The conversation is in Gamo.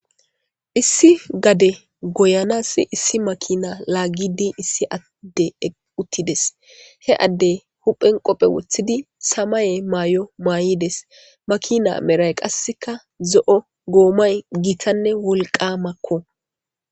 Issi gade goyanas issi makina laaggidi issi addey eqqi uttides. He addey huphen qophe woththidi samaye mayo mayides. Makina meray qassikka zo'o goomay gitanne wolqamakko.